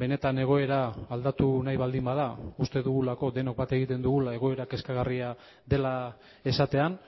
benetan egoera aldatu nahi baldin bada uste dugulako denok bat egiten dugula egoera kezkagarria dela esatean